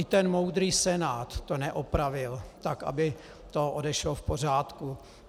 I ten moudrý Senát to neopravil tak, aby to odešlo v pořádku.